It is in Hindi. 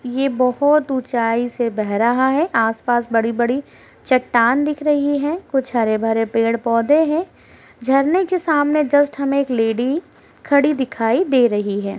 यह बोहोत ऊँचाई से बह रहा है आस-पास बड़ी-बड़ी चट्टान दिख रही है कुछ हरे भरे पेड़ पौधें हैं। झरने के सामने जस्ट हमे एक लेडी खड़ी दिखाई दे रही है।